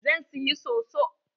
Zan siyi soso.